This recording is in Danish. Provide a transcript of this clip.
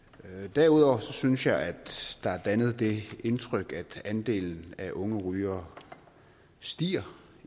derudover synes jeg at der er dannet det indtryk at andelen af unge rygere stiger